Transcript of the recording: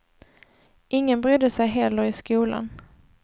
Ingen brydde sig heller i skolan.